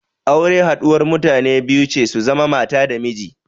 Aure haɗuwar mutane biyu ce su zama mata da miji.